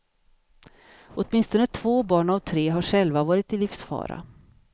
Åtminstone två barn av tre har själva varit i livsfara.